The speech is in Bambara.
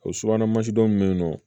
O subahana mansi dɔ be yen nɔ